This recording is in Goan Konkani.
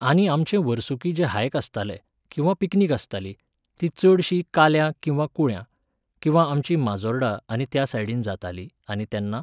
आनी आमचें वर्सुकी जे हायक आसताले, किंवा पिकनिक आसताली, ती चडशी काल्यां किंवा कुळ्यां, किंवा आमची माजोर्डा आनी त्यासायडीन जाताली आनी तेन्ना